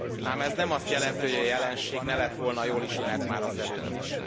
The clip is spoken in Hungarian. Ám ez nem azt jelenti, hogy a jelenség ne lett volna jól ismert már azelőtt is.